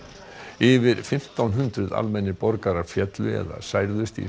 yfir fimmtán hundruð almennir borgarar féllu eða særðust í